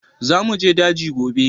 Za mu je daji gobe!